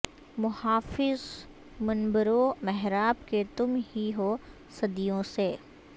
محافظ منبرو محراب کے تم ہی ہو صدیوں سے